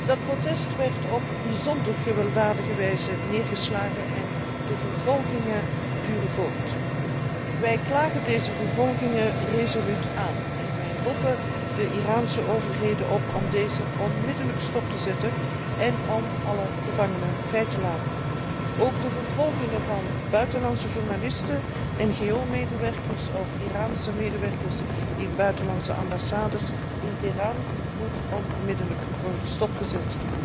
Dat protest werd op bijzonder gewelddadige wijze neergeslagen en de vervolgingen duren voort. Wij stellen deze vervolgingen resoluut aan de kaak en wij roepen de Iraanse overheden op om deze onmiddellijk stop te zetten en alle gevangenen vrij te laten. Ook de vervolgingen van buitenlandse journalisten, NGO medewerkers en Iraanse medewerkers in buitenlandse ambassades in Teheran moeten onmiddellijk worden stopgezet.